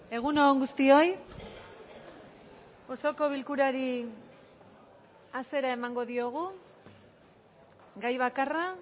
egun on guztioi osoko bilkurari hasiera emango diogu gai bakarra